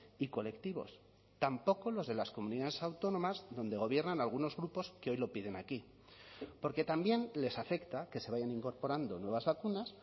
y colectivos tampoco los de las comunidades autónomas donde gobiernan algunos grupos que hoy lo piden aquí porque también les afecta que se vayan incorporando nuevas vacunas